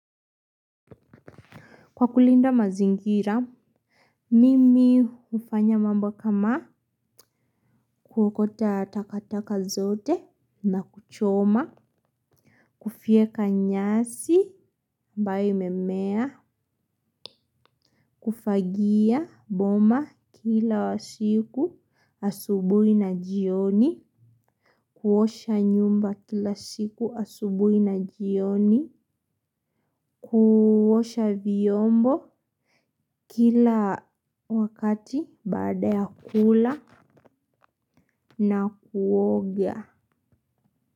Kwa kulinda mazingira mimi hufanya mambo kama kuokota takataka zote na kuchoma. Kufyeka nyasi ambayo imemea. Kufagia boma kila siku asubuhi na jioni. Kuosha nyumba kila siku asubuhi na jioni. Kuosha vyombo kila wakati baada ya kula na kuoga.